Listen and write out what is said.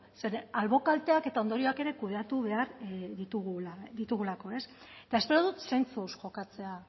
zeren albo kalteak eta ondorioak ere kudeatu behar ditugulako ez eta espero dut zentzuz jokatzea